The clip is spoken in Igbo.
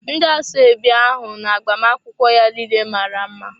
Ndị asoebi ahụ na agbamakwụkwọ ya niile mara mma.